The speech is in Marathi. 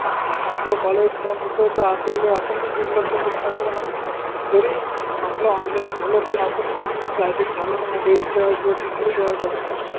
आपलं College बंद होत त आपल्याला अपनइ दुर्लक्ष करून टाकलं न घरी आपलं online झालं पन आपन पन Gazette घालवन mobile चा किंव्हा TV चा जास्त